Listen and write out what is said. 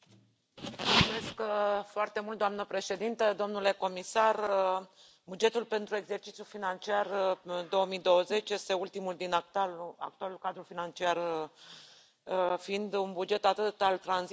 Doamnă președintă, domnule comisar, bugetul pentru exercițiul financiar 2020 este ultimul din actualul cadru financiar, fiind un buget atât al tranziției, cât și al continuității.